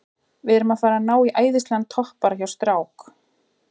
Við erum að fara að ná í æðislegan toppara hjá strák